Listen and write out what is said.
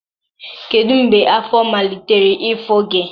Kedu mgbe afọ malitere ịfụ gị?